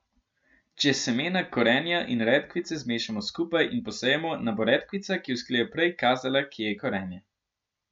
Če semena korenja in redkvice zmešamo skupaj in posejemo, nam bo redkvica, ki vzklije prej, kazala, kje je korenje.